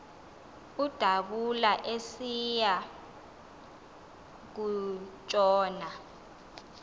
udabula esiya kutshona